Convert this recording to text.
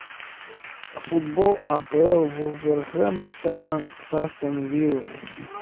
футбол апл вулверхэмптона с астон виллой